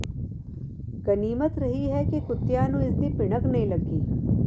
ਗਨੀਮਤ ਰਹੀ ਹੈ ਕਿ ਕੁੱਤਿਆਂ ਨੂੰ ਇਸ ਦੀ ਭਿਣਕ ਨਹੀਂ ਲੱਗੀ